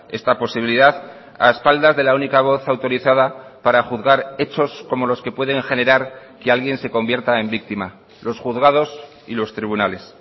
esta posibilidad a espaldas de la única voz autorizada para juzgar hechos como los que pueden generar que alguien se convierta en víctima los juzgados y los tribunales